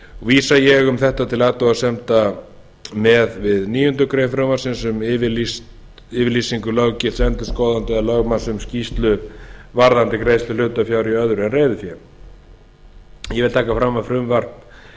vísa ég um þetta til athugasemda með við níundu grein frumvarpsins um yfirlýsingu löggilts endurskoðanda eða lögmanns um skýrslu varðandi greiðslu hlutafjár í öðru en reiðufé ég vil taka fram að frumvarp